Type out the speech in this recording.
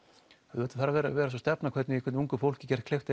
auðvitað þarf að vera að vera sú stefna hvernig ungu fólki er gert kleift